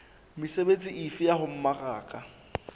mesebetsi efe ya ho mmaraka